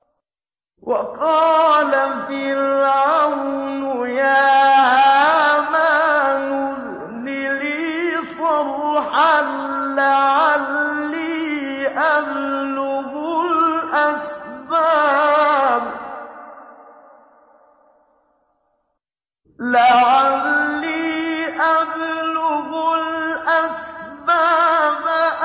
وَقَالَ فِرْعَوْنُ يَا هَامَانُ ابْنِ لِي صَرْحًا لَّعَلِّي أَبْلُغُ الْأَسْبَابَ